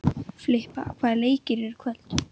Filippa, hvaða leikir eru í kvöld?